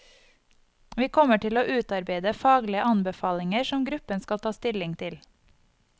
Vi kommer til å utarbeide faglige anbefalinger som gruppen skal ta stilling til.